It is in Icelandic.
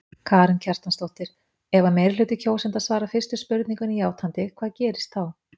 Karen Kjartansdóttir: Ef að meirihluti kjósenda svarar fyrstu spurningunni játandi hvað gerist þá?